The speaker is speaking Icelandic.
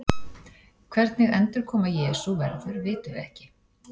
Hvernig endurkoma Jesú verður vitum við ekki.